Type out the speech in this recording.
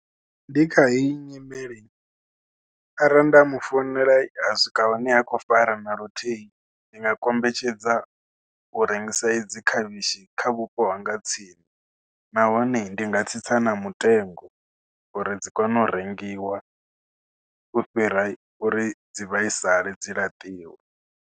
Ndi kha heyi nyimele arali nda mu founela a swika hune ha khou fara na luthihi. Ndi nga kombetshedza u rengisa idzi khavhishi kha vhupo hanga ha tsini nahone ndi nga tsitsa na mutengo uri dzi kone u rengiwa, u fhira uri dzi vhaisale dzi laṱiwe.